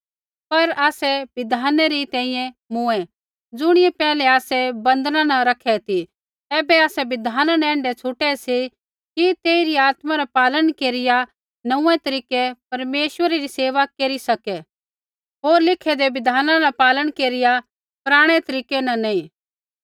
पर आसै बिधाना री तैंईंयैं मूँऐ ज़ुणियै पैहलै आसै बंधना न रखै ती ऐबै आसै बिधाना न ऐण्ढै छूटे सी कि तेइरी आत्मा रा पालन केरिया नोंऊँऐं तरीकै परमेश्वरा री सेवा केरी सका सी होर लिखेदै बिधाना रा पालन केरिया पराणै तरीकै न नैंई